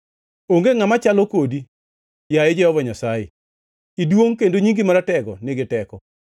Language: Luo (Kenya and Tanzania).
Onge ngʼama chalo kodi, yaye Jehova Nyasaye; iduongʼ, kendo nyingi maratego nigi teko.